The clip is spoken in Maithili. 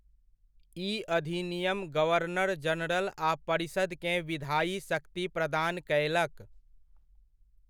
ई अधिनियम गवर्नर जनरल आ परिषदकेँ विधायी शक्ति प्रदान कयलक।